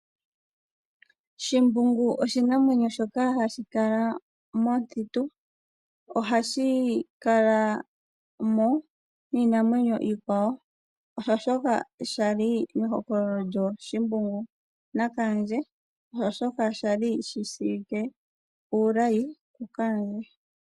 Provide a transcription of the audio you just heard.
Shimbungu oshinamwenyo shoka hashi kala momuthitu. Ohashi kalamo niinamwenyo iikwawo. Osho shoka sha li mehokololo lyooShimbungu naKaandje, osho shoka kwali shi shiwike uulayi kuKaandje.